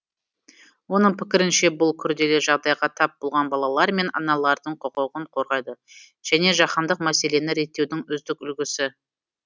оның пікірінше бұл күрделі жағдайға тап болған балалар мен аналардың құқығын қорғайды және жаһандық мәселені реттеудің үздік үлгісі